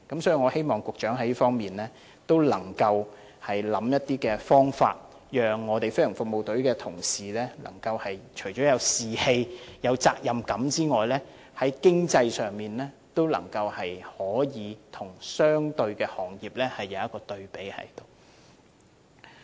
所以，我希望局長能在這方面想出方法，讓飛行服務隊的同事除有士氣、責任感外，在經濟上也能與相關的行業可比較。